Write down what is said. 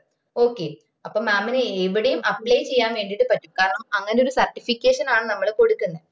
okay അപ്പൊ mam ന് എവിടെയും apply ചെയ്യാൻ വേണ്ടീട്ട് പറ്റും കാരണം അങ്ങനെ ഒര് certification ആണ് നമ്മള് കൊടുക്കുന്നത്